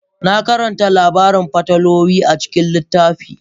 Na karanta labarin fatalwa a cikin littafi.